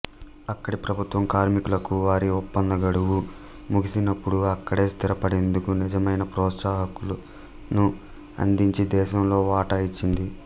అక్కడి ప్రభుత్వం కార్మికులకు వారి ఒప్పంద గడువు ముగిసినప్పుడు అక్కడే స్థిరపడేందుకు నిజమైన ప్రోత్సాహకాలను అందించి దేశంలో వాటా ఇచ్చింది